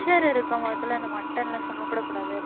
pressure இருக்கிறவங்க இந்த mutton எல்லாம் சாப்பிடக்கூடாது